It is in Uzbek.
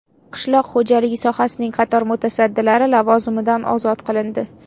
Qishloq xo‘jaligi sohasining qator mutasaddilari lavozimidan ozod qilindi.